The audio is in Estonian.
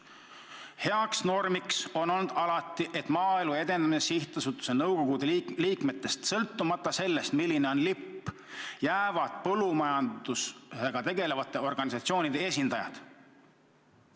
Aga heaks normiks on alati olnud, et Maaelu Edendamise Sihtasutuse nõukogu liikmete hulka jäävad sõltumata sellest, milline on ministri lipp, ka põllumajandusega tegelevate organisatsioonide esindajad.